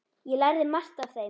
Ég lærði margt af þeim.